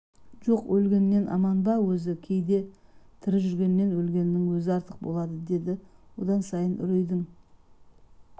жоқ өлгеннен аман ба өзі кейде тірі жүргеннен өлгеннің өзі артық болады деді одан сайын үрейдің